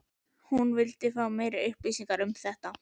hún vildi fá meiri upplýsingar um þetta allt.